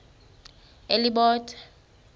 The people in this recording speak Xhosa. elibode